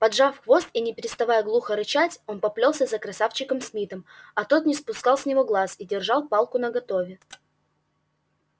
поджав хвост и не переставая глухо рычать он поплёлся за красавчиком смитом а тот не спускал с него глаз и держал палку наготове